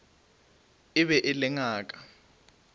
e be e le ngaka